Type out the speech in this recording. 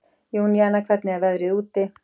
Júníana, hvernig er veðrið úti?